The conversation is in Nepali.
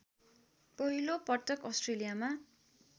पहिलो पटक अस्ट्रेलियामा